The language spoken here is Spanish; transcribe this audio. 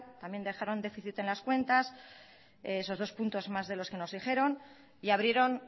también dejaron déficit en las cuentas esos dos puntos más de los que nos dijeron y abrieron